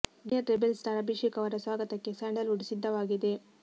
junior rebel star Abhishek ಅವರ ಸ್ವಾಗತಕ್ಕೆ Sandalwood ಸಿದ್ಧವಾಗಿದೆ